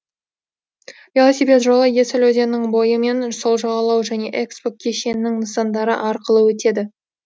велосипед жолы есіл өзенінің бойы мен сол жағалау және экспо кешенінің нысандары арқылы өтеді